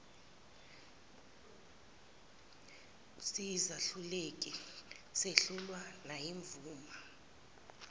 siyizehluleki sehlulwa nayimvuma